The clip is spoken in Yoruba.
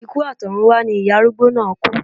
Ikú àtọ̀runwá ni ìyá arúgbó náà kú